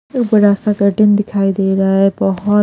एक बड़ा सा कर्टन दिखाई दे रहा है बहुत--